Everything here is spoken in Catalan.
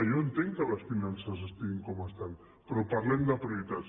jo entenc que les finances estiguin com estan però parlem de prioritats